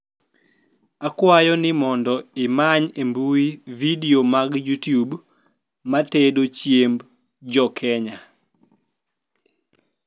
akwayo ni mondo imany e mbuyi video mag youtube matendo chiem jokenya